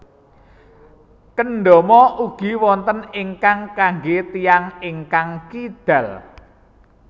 Kendama ugi wonten ingkang kanggé tiyang ingkang kidal